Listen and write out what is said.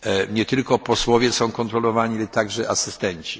Nie tylko posłowie są kontrolowani, ale także asystenci.